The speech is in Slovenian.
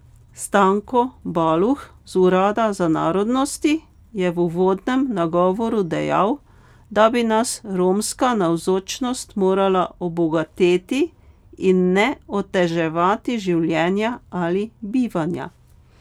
Stanko Baluh z urada za narodnosti je v uvodnem nagovoru dejal, da bi nas romska navzočnost morala obogateti in ne oteževati življenja ali bivanja.